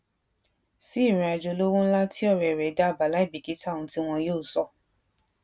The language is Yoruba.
si irin ajo olowo nla ti ore re dabaa lai bikita ohun ti won yoo sọ